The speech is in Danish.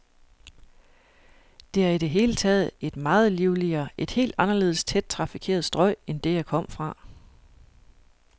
Det er i det hele taget et meget livligere, et helt anderledes tæt trafikeret strøg end det, jeg kom fra.